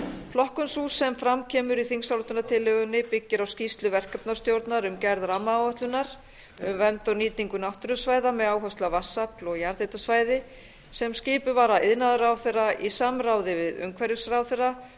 flokkun sú sem fram kemur í þingsályktunar byggir á skýrslu verkefnastjórnar um gerð rammaáætlunar um vernd og nýtingu áherslusvæða með áherslu á vatnsafl og jarðhitasvæði sem skipuð var af iðnaðarráðherra í samráði við umhverfisráðherra